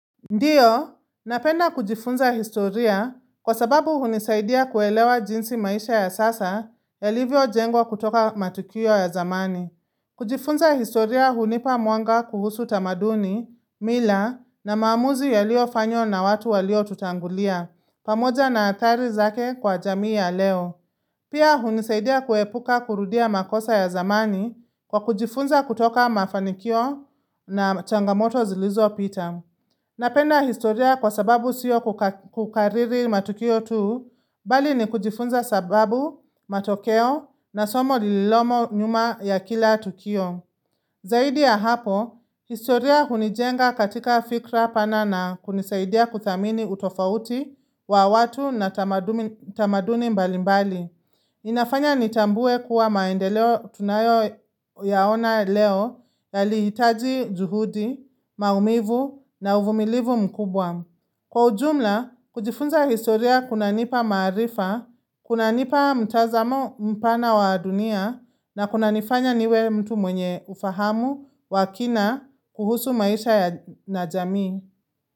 Ndiyo, napenda kujifunza historia kwa sababu hunisaidia kuelewa jinsi maisha ya sasa yalivyo jengwa kutoka matukio ya zamani. Kujifunza historia hunipa muanga kuhusu tamaduni, mila na maamuzi yaliyo fanywa na watu walio tutangulia, pamoja na atari zake kwa jamii ya leo. Pia hunisaidia kuepuka kurudia makosa ya zamani kwa kujifunza kutoka mafanikio na changamoto zilizo pita. Napenda historia kwa sababu siyo kukariri matukio tu, bali ni kujifunza sababu matokeo na somo lililomo nyuma ya kila tukio. Zaidi ya hapo, historia hunijenga katika fikra pana na kunisaidia kuthamini utofauti wa watu na tamaduni mbalimbali. Inafanya nitambue kuwa maende leo tunayo yaona leo yali hitaji juhudi, maumivu na uvumilivu mkubwa. Kwa ujumla, kujifunza historia kuna nipa marifa, kuna nipa mtazamo mpana wa dunia na kuna nifanya niwe mtu mwenye ufahamu wakina kuhusu maisha na jamii.